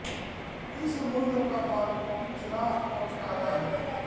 इस समुद्र का बालू उजला और काला है